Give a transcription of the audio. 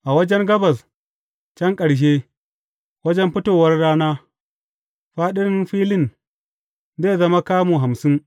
A wajen gabas can ƙarshe, wajen fitowar rana, fāɗin filin zai zama kamu hamsin.